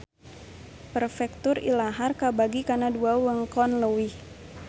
Perfektur ilahar kabagi kana dua wewengkon leuwih